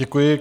Děkuji.